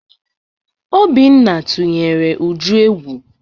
Obinna tụnyere Uju egwu.